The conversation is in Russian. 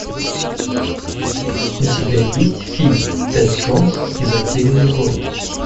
у тебя есть фильм тэд джонс и затерянный город